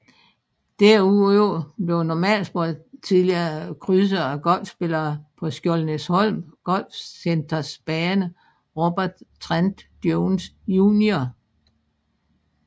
Derudover blev normalsporet tidligere krydset af golfspillere på Skjoldenæsholm Golfcenters bane Robert Trent Jones Jr